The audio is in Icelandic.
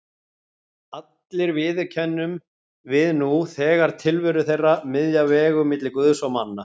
Allir viðurkennum við nú þegar tilveru þeirra, miðja vegu milli Guðs og manna.